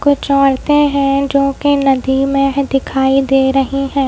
कुछ औरतें हैं जो कि नदी मे है दिखाई दे रही है।